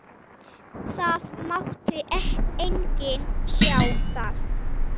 Það mátti enginn sjá það.